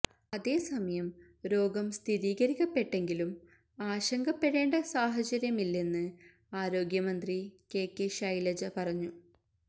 അതേസമയം രോഗം സ്ഥിരീകരിക്കപ്പെട്ടെങ്കിലും ആശങ്കപ്പെടേണ്ട സാഹചര്യമില്ലെന്ന് ആരോഗ്യമന്ത്രി കെ കെ ശൈലജ പറഞ്ഞു